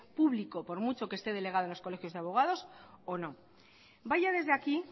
público por mucho que este delegado a los colegios de abogados o no vaya desde aquí